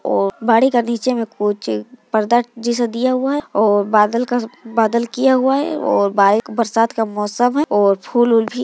-- और गाड़ी के नीचे में कुछ पर्दा जैसा दिया हुआ है और बादल का बादल किया हुआ है और बाइक बरसात का मौसम है और फूल ऊल भी --